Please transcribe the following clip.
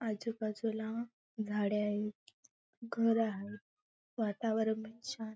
आजूबाजूला झाडे आहेत घरं आहे वातावरण पण छान--